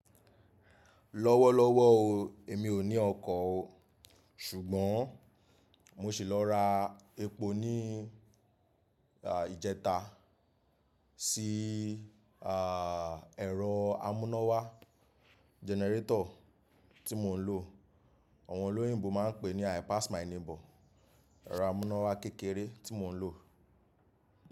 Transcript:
Lọ́wọ́lọ́wọ́ o, èmi ò ní ọkọ̀ o, ṣùgbọ́n mo sì lọ ra epo ní ìjẹta si, ẹ̀rọ amúnáwá, gẹnẹrétọ̀ tí mò ń lò. Àwọn olóyìnbo máa ń pè é ní I pass my neighbor. Ẹ̀rọ amúnáwá kékeré tí mò ń lò.